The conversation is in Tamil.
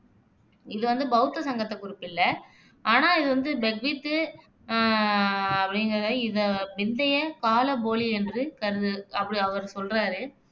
இது வந்து பௌத்த சங்கத்தைக் குறிப்பிடல. ஆனா இது வந்து பெக்வித் ஆஹ் அப்படிகுறவர் இதை பிந்தைய காலப் போலி என்று கருது அப்படி அவரு சொல்றாரு